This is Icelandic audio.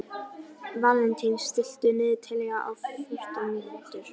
Valentín, stilltu niðurteljara á fjórtán mínútur.